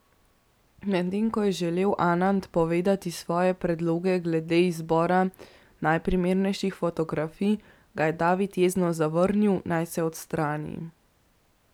Medtem ko je želel Anand povedati svoje predloge glede izbora najprimernejših fotografij, ga je David jezno zavrnil, naj se odstrani.